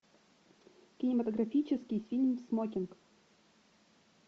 кинематографический фильм смокинг